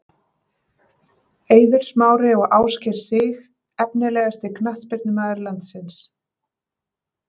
Eiður Smári og Ásgeir Sig Efnilegasti knattspyrnumaður landsins?